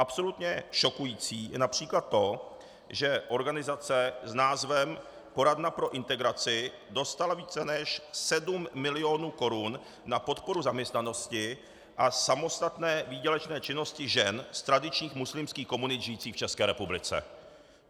Absolutně šokující je například to, že organizace s názvem Poradna pro integraci dostala více než 7 mil. korun na podporu zaměstnanosti a samostatné výdělečné činnosti žen z tradičních muslimských komunit žijících v České republice.